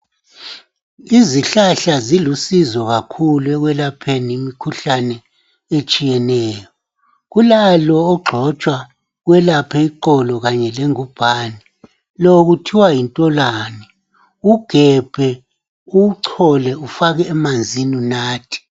Izihlahla zilusizo kakhulu ekwelapheni imikhuhlane etshiyeneyo. Kulalo ogxotshwa welaphe iqolo kanye lengubhane, lo kuthiwa yintolwane, ugebhe, uwuchole, ufake emanzini unathe